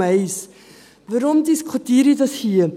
Weshalb diskutiere ich das hier?